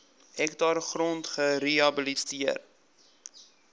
hektaar grond gerehabiliteer